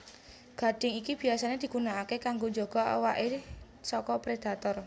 Gadhing iki biyasané digunakaké kanggo njaga awaké saka predator